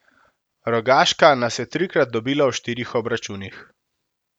Rogaška nas je trikrat dobila v štirih obračunih.